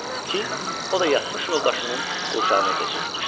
Ki, o da yatmış yoldaşının qurşağına keçirilmişdi.